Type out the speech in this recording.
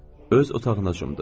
Öz otağına cumdu.